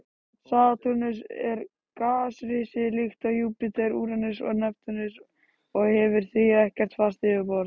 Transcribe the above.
Satúrnus er gasrisi líkt og Júpíter, Úranus og Neptúnus og hefur því ekkert fast yfirborð.